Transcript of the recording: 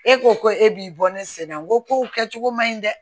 E ko ko e b'i bɔ ne sɛnɛ n ko ko kɛ cogo man ɲi dɛ